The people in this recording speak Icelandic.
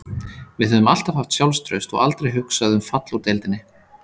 Við höfum alltaf haft sjálfstraust og aldrei hugsað um fall úr deildinni